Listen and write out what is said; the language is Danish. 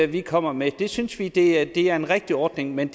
vi kommer med synes vi at det er en rigtig ordning men